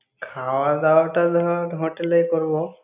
খাওয়া-দাওয়া টা তাহলে hotel এ করব।